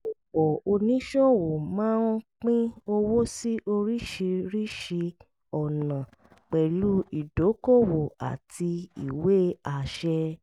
ọ̀pọ̀ oníṣòwò máa ń pín owó sí oríṣiríṣi ọ̀nà pẹ̀lú ìdókòwò àti ìwé àṣẹ